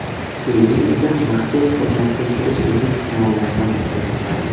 Keyin esa maxsus xizmatga kirish uchun sinovlardan o‘ta boshladim.